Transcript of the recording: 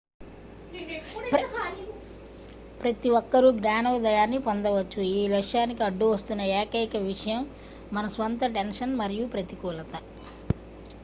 ప్రతి ఒక్కరూ జ్ఞానోదయాన్ని పొందవచ్చు ఈ లక్ష్యానికి అడ్డువస్తున్న ఏకైక విషయం మన స్వంత టెన్షన్ మరియు ప్రతికూలత